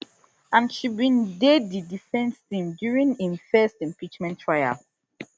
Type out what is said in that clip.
and she bin dey di defence team during im first impeachment trial